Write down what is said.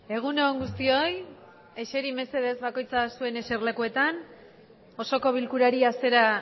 egun on guztioi eseriz mesedez bakoitza zuen eserlekuetan osoko bilkurari hasiera